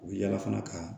U bɛ yaala fana ka